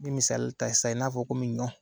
I bɛ misali ta sisan i n'a fɔ komi ɲɔn.